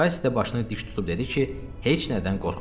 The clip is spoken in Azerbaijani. Kassi də başını dik tutub dedi ki, heç nədən qorxmur.